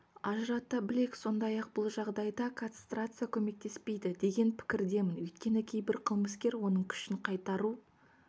ажырата білейік сондай-ақ бұл жағдайда кастрация көмектеспейді деген пікірдемін өйткені кейбір қылмыскер оның күшін қайтару